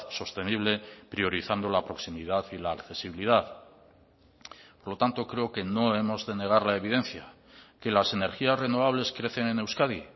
sostenible priorizando la proximidad y la accesibilidad por lo tanto creo que no hemos de negar la evidencia que las energías renovables crecen en euskadi